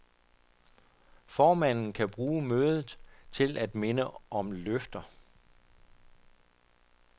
Formanden kan bruge mødet til at minde om løfter.